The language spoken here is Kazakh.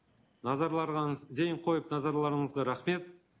зейін қойып назарларыңызға рахмет